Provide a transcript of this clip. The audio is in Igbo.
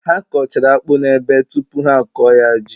Ha kọchara akpụ n’ebe tupu ha akọ ya ji